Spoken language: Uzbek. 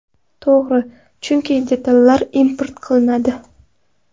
To‘g‘ri, chunki detallar import qilinadi.